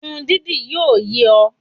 Irun dídì yíò yẹ ọ́